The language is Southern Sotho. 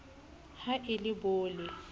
ha e le bo le